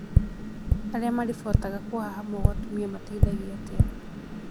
Arĩa maribotaga kuhahamwo gwa atumia mateithagio atĩa?